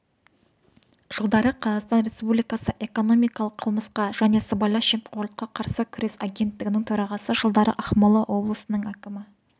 жылдары қазақстан республикасы экономикалық қылмысқа және сыбайлас жемқорлыққа қарсы күрес агенттігінің төрағасы жылдары ақмола облысының әкімі